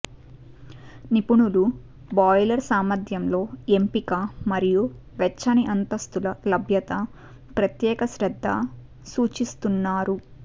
నిపుణులు బాయిలర్ సామర్థ్యంలో ఎంపిక మరియు వెచ్చని అంతస్తులు లభ్యత ప్రత్యేక శ్రద్ద సూచిస్తున్నారు